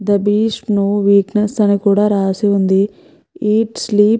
That is my weakness అని కూడా రాసి ఉంది. Eat sleep --